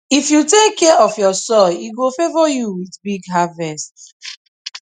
if you take care of your soil e go favour you with big harvest